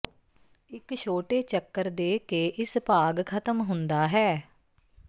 ਇੱਕ ਛੋਟੇ ਚੱਕਰ ਦੇ ਕੇ ਇਸ ਭਾਗ ਖਤਮ ਹੁੰਦਾ ਹੈ